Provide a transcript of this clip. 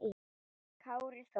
Kári Þór.